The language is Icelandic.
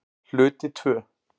Hluti II